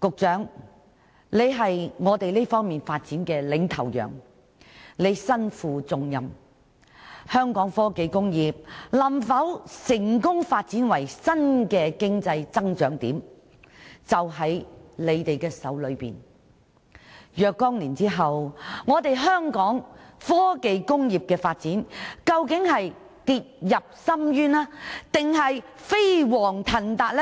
局長是我們在這方面發展的領頭羊，他身負重任，香港科技工業能否發展為新的經濟增長點，關鍵握在他手中，若干年後，究竟香港的科技工業發展會跌入深淵還是飛黃騰達，